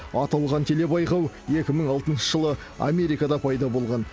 аталған телебайқау екі мың алтыншы жылы америкада пайда болған